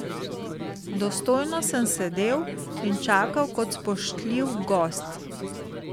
Dostojno sem sedel in čakal kot spoštljiv gost.